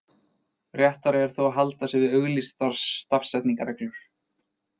Réttara er þó að halda sig við auglýstar stafsetningarreglur.